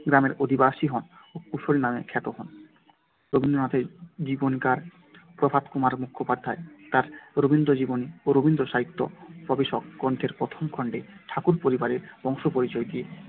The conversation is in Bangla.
গ্রামের অধিবাসী হন ও কুশারী নামে খ্যাত হন। রবীন্দ্রনাথের জীবনীকার প্রভাতকুমার মুখোপাধ্যায় তার রবীন্দ্রজীবনী ও রবীন্দ্রসাহিত্য প্রবেশক গ্রন্থের প্রথম খণ্ডে ঠাকুর পরিবারের বংশপরিচয় দিতে